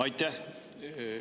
Aitäh!